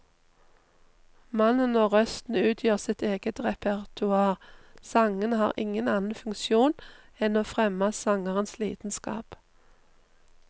Mannen og røsten utgjør sitt eget repertoar, sangene har ingen annen funksjon enn å fremme sangerens lidenskap.